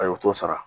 Ayi o t'o sara